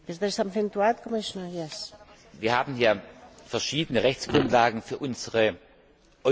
Wir haben verschiedene Rechtsgrundlagen für unsere Europäisierung der Energiepolitik.